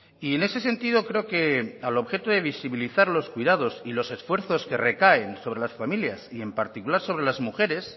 y en ese sentido creo que al objeto de visibilizar los cuidados y los esfuerzos que recaen sobre las familias y en particular sobre las mujeres